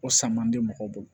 O sama bɛ mɔgɔw bolo